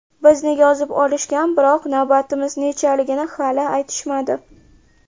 Bizni yozib olishgan, biroq navbatimiz nechaligini hali aytishmadi.